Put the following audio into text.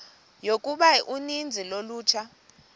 yokuba uninzi lolutsha